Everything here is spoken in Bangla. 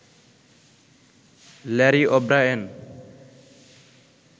Larry O'Brien